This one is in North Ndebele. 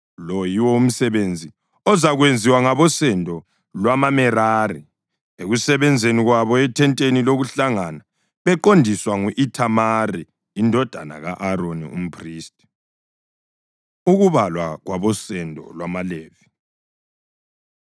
Lo yiwo umsebenzi ozakwenziwa ngabosendo lwamaMerari ekusebenzeni kwabo ethenteni lokuhlangana beqondiswa ngu-Ithamari indodana ka-Aroni, umphristi.” Ukubalwa Kwabosendo LwamaLevi